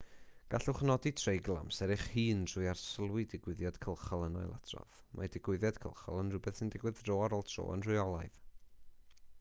gallwch nodi treigl amser eich hun drwy arsylwi digwyddiad cylchol yn ailadrodd mae digwyddiad cylchol yn rhywbeth sy'n digwydd dro ar ôl tro yn rheolaidd